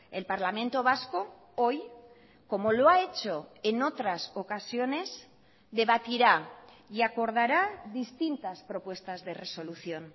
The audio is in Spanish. el parlamento vasco hoy como lo ha hecho en otras ocasiones debatirá y acordará distintas propuestas de resolución